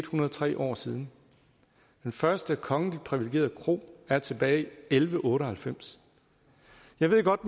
hundrede og tre år siden den første kongeligt privilegerede kro er tilbage i elleve otte og halvfems jeg ved godt